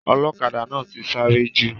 Ọlọ́kadà náà ti sáré jù.